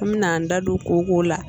An bɛna an da don kooko la